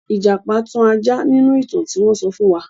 Ìjàpá tan ajá nínú ìtàn tí wọ́n sọ fún wa.